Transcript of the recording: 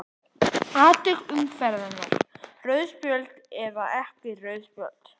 Atvik umferðarinnar:- Rauð spjöld eða ekki rauð spjöld?